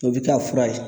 O bɛ kɛ fura ye